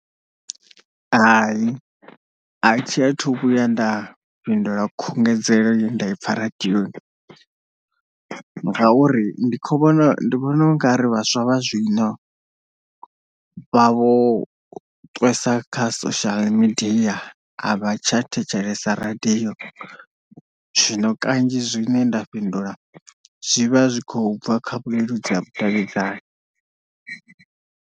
Hai a tshiya thu vhuya nda fhindula khungedzelo ye nda i pfha radioni ngauri ndi kho vhona ndi vhona u nga ri vhaswa vha zwino vha vho ṱwesa kha social media avha tsha thetshelesa radio zwino kanzhi zwine nda fhindula zwi vha zwi khou bva kha vhuleludzi ha vhudavhidzani.